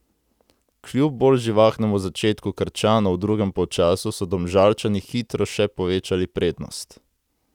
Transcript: Kljub bolj živahnemu začetku Krčanov v drugem polčasu so Domžalčani hitro še povečali prednost.